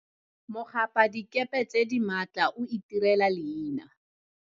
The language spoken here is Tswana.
Mogapadikepe tse di maatla o itirela leina.